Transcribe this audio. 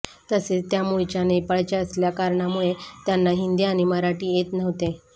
तसेच त्या मुळच्या नेपाळच्या असल्या कारणामुळे त्यांना हिंदी आणि मराठी येत नव्हते